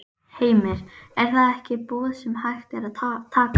Heimir: Er það ekki boð sem hægt er að taka?